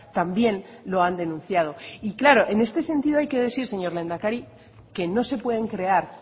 también lo han denunciado y claro en este sentido hay que decir señor lehendakari que no se pueden crear